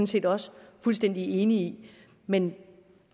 set også fuldstændig enige i men